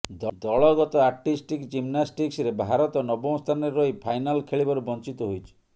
ଦଳଗତ ଆର୍ଟିଷ୍ଟିକ୍ ଜିମ୍ନାଷ୍ଟିକ୍ସରେ ଭାରତ ନବମ ସ୍ଥାନରେ ରହି ଫାଇନାଲ୍ ଖେଳିବାରୁ ବଞ୍ଚିତ ହୋଇଛି